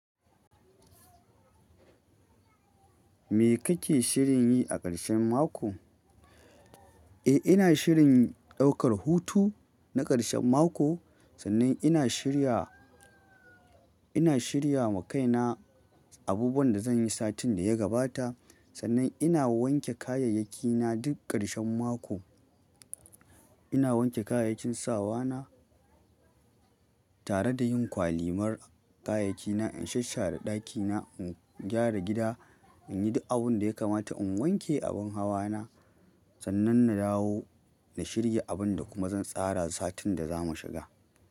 Me kake shirin yi a ƙarshen mako? Eh, ina shirin ɗaukar hutu na ƙarshen mako. Sannan ina shirya, ina shirya ma kaina abubuwan da zan yi satin da ya gabata. Sannan ina wanke kayayyakina duk ƙarshen mako. Ina wanke kayayyakin sawa na tare da yin kwalimar kayayyakina, in shashshare ɗakina, in gyara gida, in yi duk abin da ya kamata, in wanke abin hawa na. Sannan na dawo na shirya abin da kuma zan tsara satin da zamu shiga.